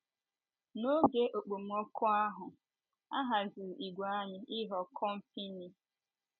N’oge okpomọkụ ahụ, a haziri ìgwè anyị ịghọ kọmpịnị.